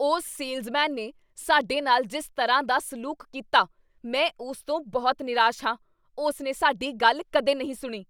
ਉਸ ਸੇਲਜ਼ਮੈਨ ਨੇ ਸਾਡੇ ਨਾਲ ਜਿਸ ਤਰ੍ਹਾਂ ਦਾ ਸਲੂਕ ਕੀਤਾ, ਮੈਂ ਉਸ ਤੋਂ ਬਹੁਤ ਨਿਰਾਸ਼ ਹਾਂ, ਉਸ ਨੇ ਸਾਡੀ ਗੱਲ ਕਦੇ ਨਹੀਂ ਸੁਣੀ।